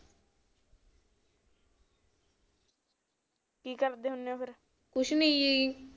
ਕੀ ਕਰਦੇ ਹੁੰਦੇ ਓ ਫਿਰ ਕੁਛ ਨੀ ਜੀ